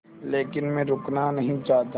लेकिन मैं रुकना नहीं चाहता